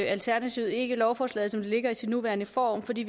alternativet ikke lovforslaget som det ligger i sin nuværende form fordi